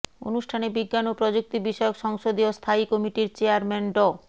অনুষ্ঠানে বিজ্ঞান ও প্রযুক্তি বিষয়ক সংসদীয় স্থায়ী কমিটির চেয়ারম্যান ড